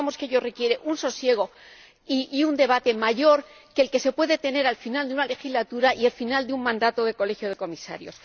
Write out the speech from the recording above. pensamos que ello requiere un sosiego y un debate mayores que los que se pueden tener al final de una legislatura y al final de un mandato de Colegio de Comisarios.